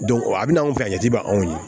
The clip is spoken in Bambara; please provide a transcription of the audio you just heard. a bɛna anw fɛ yan ji b'anw ye